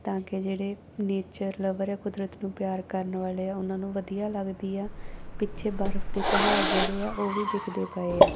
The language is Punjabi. ਤਾਂ ਕੇ ਜਿਹੜੇ ਨੇਚਰ ਲਵਰ ਐ ਕੁਦਰਤ ਨੂੰ ਪਿਆਰ ਕਰਨ ਵਾਲੇ ਆ ਉਹਨਾਂ ਨੂੰ ਵਧੀਆ ਲਗਦੀ ਆ ਪਿੱਛੇ ਬਰਫ ਦੇ ਪਹਾੜ ਜਿਹੜੇ ਆ ਉਹ ਵੀ ਦਿਖਦੇ ਪਏ ਆ।